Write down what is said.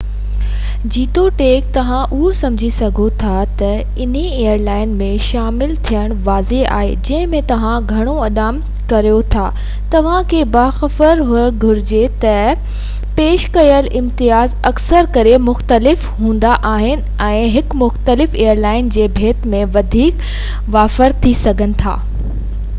جيتوڻيڪ توهان اهو سمجهي سگهو ٿا ته انهي ايئر لائن ۾ شامل ٿيڻ واضع آهي جنهن ۾ توهان گهڻو اڏام ڪريو ٿا توهان کي باخبر هئڻ گهرجي ته پيش ڪيل امتياز اڪثر ڪري مختلف هوندا آهن ۽ فريڪوينٽ فلائر پوائنٽس ساڳئي اتحاد ۾ هڪ مختلف ايئر لائن جي ڀيٽ ۾ وڌيڪ وافر ٿي سگهن ٿا